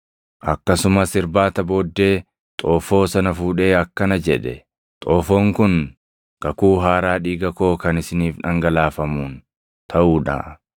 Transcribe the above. Akkasumas irbaata booddee xoofoo sana fuudhee akkana jedhe; “Xoofoon kun Kakuu Haaraa dhiiga koo kan isiniif dhangalaafamuun taʼuu dha.